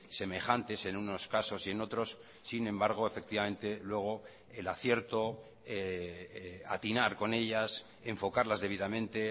semejantes en unos casos y en otros sin embargo efectivamente luego el acierto atinar con ellas enfocarlas debidamente